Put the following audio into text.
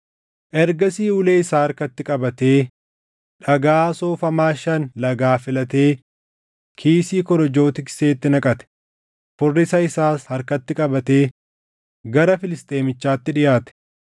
Ergasii ulee isaa harkatti qabatee dhagaa soofamaa shan lagaa filatee kiisii korojoo tikseetti naqate; furrisa isaas harkatti qabatee gara Filisxeemichaatti dhiʼaate.